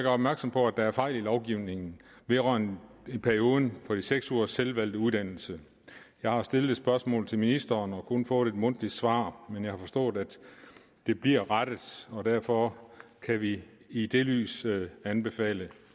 opmærksom på at der er fejl i lovgivningen vedrørende perioden på de seks ugers selvvalgte uddannelse jeg har stillet et spørgsmål til ministeren og kun fået et mundtligt svar men jeg har forstået at det bliver rettet og derfor kan vi i det lys anbefale